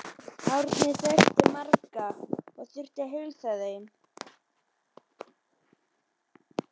Árni þekkti marga og þurfti að heilsa þeim.